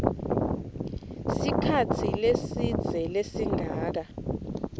sikhatsi lesidze lesingaba